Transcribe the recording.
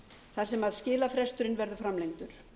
þar sem skilafresturinn verður framlengdur